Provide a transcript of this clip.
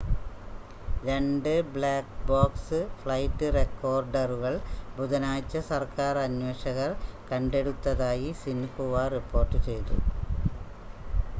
രണ്ട് black box flight റെക്കോർഡറുകൾ ബുധനാഴ്ച സർക്കാർ അന്വേഷകർ കണ്ടെടുത്തതായി സിൻഹുവ റിപ്പോർട്ട് ചെയ്തു